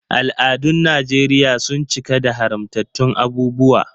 Al’adun Najeriya sun cika da haramtattun abubuwa.